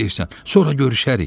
Düz deyirsən, sonra görüşərik!